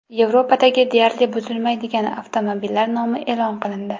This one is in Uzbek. Yevropadagi deyarli buzilmaydigan avtomobillar nomi e’lon qilindi.